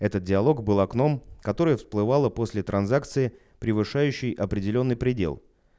этот диалог была окном который всплывала после транзакции превышающей определённый предел